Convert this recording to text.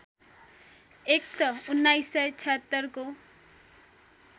act १९७६ को